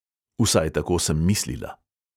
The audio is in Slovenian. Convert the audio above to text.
Vsaj tako sem mislila.